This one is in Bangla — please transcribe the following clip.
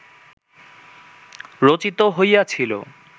রচিত হইয়াছিল